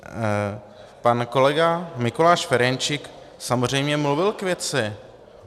Pan kolega Mikuláš Ferjenčík samozřejmě mluvil k věci.